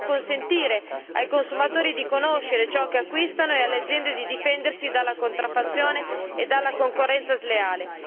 Dobbiamo consentire ai consumatori di conoscere ciò che acquistano e alle aziende di difendersi dalla contraffazione e dalla concorrenza sleale.